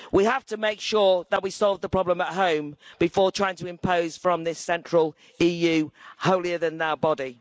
We have to make sure that we solve the problem at home before trying to impose from this central EU holier than thou body.